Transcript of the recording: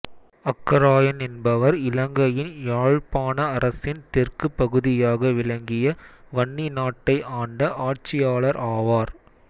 அக்கராயன் என்பவர் இலங்கையின் யாழ்ப்பாண அரசின் தெற்கு பகுதியாக விளங்கிய வன்னி நாட்டை ஆண்ட ஆட்சியாளர் ஆவார்